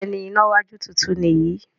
Béèni iná wájú títún ni yí.